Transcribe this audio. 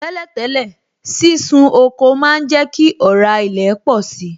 Tẹ́lẹ̀ tẹ́lẹ̀, sísun oko má ń jẹ kí ọ̀rá ilẹ̀ pọ̀si